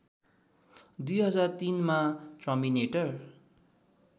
२००३ मा टर्मिनेटर